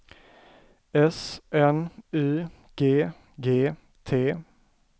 S N Y G G T